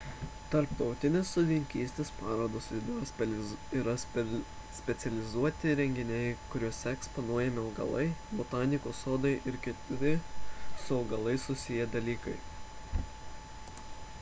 tarptautinės sodininkystės parodos yra specializuoti renginiai kuriuose eksponuojami augalai botanikos sodai ir kiti su augalais susiję dalykai